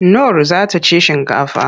Nur za ta ci shinkafa.